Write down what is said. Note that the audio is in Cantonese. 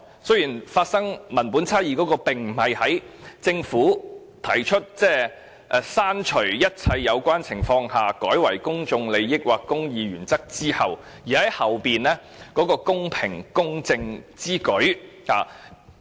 雖然文本差異並非出現在政府建議刪除"一切有關情況下"而代以"公眾利益或公義原則之後"的修正案中，而在於後面的"公正公平之舉"。